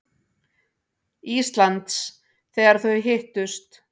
Íslands, þegar þau hittust.